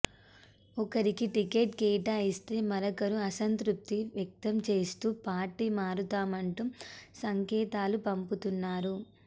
ఒకరికి టికెట్ కేటాయిస్తే మరొకరు అసంతృప్తి వ్యక్తం చేస్తూ పార్టీ మారుతామంటూ సంకేతాలు పంపుతున్నారు